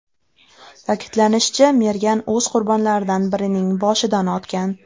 Ta’kidlanishicha, mergan o‘z qurbonlaridan birining boshidan otgan.